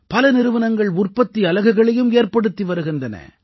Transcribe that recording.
பல நிறுவனங்கள் உற்பத்தி அலகுகளையும் ஏற்படுத்தி வருகின்றன